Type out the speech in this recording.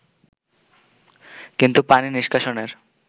কিন্তু পানি নিষ্কাশনের